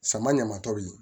Sama ɲama tɔ bilen